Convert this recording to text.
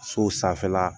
Sow sanfɛla